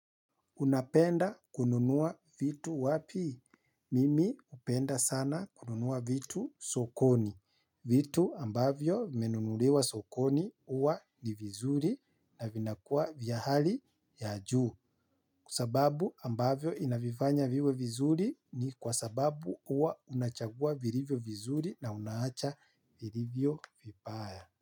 Unapenda kununua vitu wapi? Mimi hupenda sana kununua vitu sokoni. Vitu ambavyo vimenunuliwa sokoni huwa ni vizuri na vinakua vya hali ya juu. Kwa sababu ambavyo inavivanya viwe vizuri ni kwa sababu huwa unachagua virivyo vizuri na unaacha virivyo vipaya.